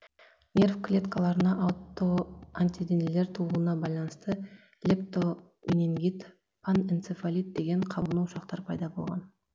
нерв клеткаларына аутоантиденелер тууына байланысты лептоменингит панэнцефалит деген қабыну ошақтары пайда болған